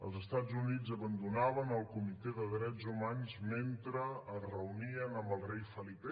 els estats units abandonaven el comitè de drets humans mentre es reunien amb el rei felip